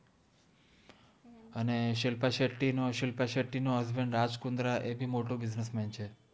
અને શિલ્પા શેત્ત્તિ નો હસ્બેન્દ રાજ કુન્દ્રા એ બિ મોતો બિસ્નેસ મેન છે